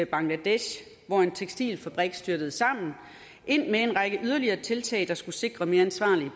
bangladesh hvor en tekstilfabrik styrtede sammen ind med en række yderligere tiltag der skulle sikre mere ansvarlige